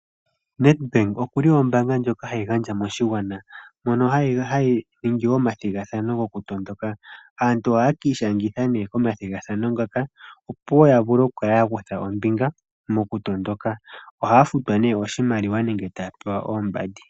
Nedbank ombaanga ndjoka hayi gandja moshigwana. Oha yi ningi omathigathano gokutondoka. Aantu ohaya ka ishangitha momathigathano ngoka opo ya vule oku kala ya kutha ombinga mokutondoka. Ohaya futwa oshimaliwa nenge taya pewa oombandi.